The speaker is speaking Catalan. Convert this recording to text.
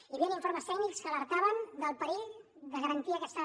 hi havia informes tècnics que alertaven del perill de garantir aquesta